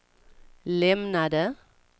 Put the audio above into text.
lämnade